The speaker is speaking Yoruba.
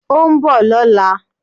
Ó ń bọ̀ lọ́la